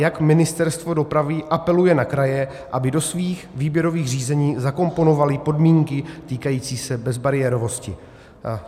Jak Ministerstvo dopravy apeluje na kraje, aby do svých výběrových řízení zakomponovaly podmínky týkající se bezbariérovosti?